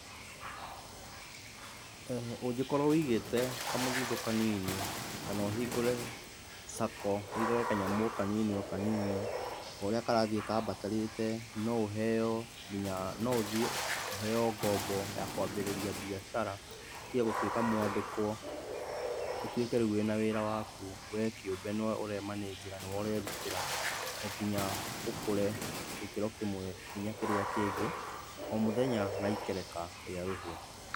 Eeh ũngĩkorũo wigĩte kamũthithũ kanini, kana ũhingũre sacco wigage kanyamũ kanini o kanini, oũrĩa karathiĩ kambatarĩte noũheo nginya, noũthiĩ ũheo ngombo ya kũambĩrĩria biacara ũtige gũtũĩka mũandĩkũo ũtũĩke rĩu wĩna wĩra waku wee kĩũmbe nowe ũremanĩnjĩra nowe ũrerutĩra, onginya ũkũre gĩkĩro kĩmwe onginya kĩrĩa kĩngĩ, omũthenya na ikereka rĩa rũhĩa.